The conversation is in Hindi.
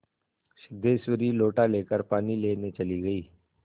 सिद्धेश्वरी लोटा लेकर पानी लेने चली गई